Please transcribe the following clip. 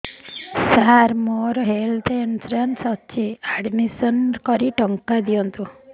ସାର ମୋର health insurance ଅଛି admission କରି ଟଙ୍କା ଦିଅନ୍ତୁ